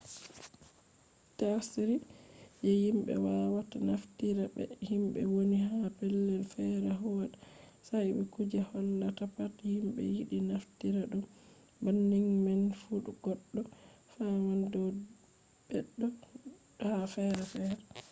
tsari je himɓe wawata naftira be himɓe woni ha pellel fere huwata sai be kuje hollata pat himɓe yiɗi naftira ɗum. banning man fu goɗɗo faman dow beɗo ha fere fere